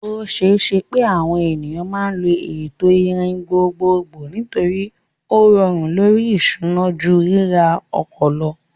O ṣeé ṣe pé àwọn ènìyàn máa lo ètò ìrìn gbogbogbò nítorí ó rọrùn lórí ìṣúná ju ríra ọkọ̀ lọ.